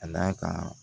Ka d'a kan